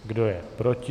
Kdo je proti?